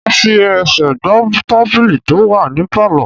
Mo fi ẹsẹ̀ gbá tábìlì tó wà ní Pálọ̀.